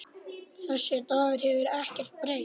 Þessi Dagur hefur ekkert breyst.